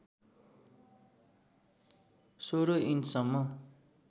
१६ inch सम्म